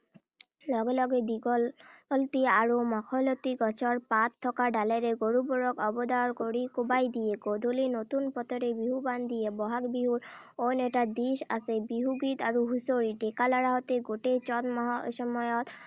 লগে লগে দীঘলতি আৰু মাখৈলতি গছৰ পাত থকা ডালেৰে গৰুবোৰক অবদাৰ কৰি কোবাই দিয়ে। গধূলি নতুন পথৰে বিহুৱান দিয়ে। বহাগ বিহুৰ অইন এটা দিশ আছে বিহুগীত আৰু হুঁচৰি। ডেকা ল’ৰাহঁতে গোটেই চ’ত মাহৰ সময়ত